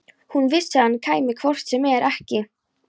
Hún vissi að hann kæmi hvort sem er ekki.